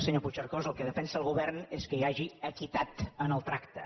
senyor puigcercós el que defensa el govern és que hi hagi equitat en el tracte